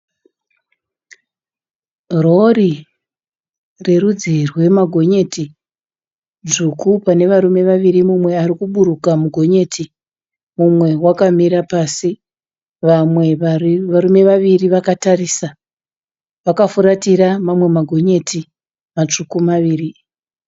Rori rerudzi rwemagonyeti dzvutsvu pane varume vaviri umwe arikuburuka mugonyeti umwe akamira pasi. Vamwe varume vaviri vakatarisa vakafuratira mamwe magonyeti matsvuku maviri.